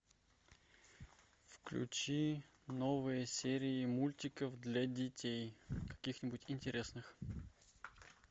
включи новые серии мультиков для детей каких нибудь интересных